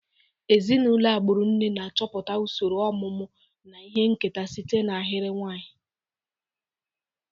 Ezinụlọ agbụrụ nne na-achọpụta usoro ọmụmụ na ihe nketa site na ahịrị nwanyị.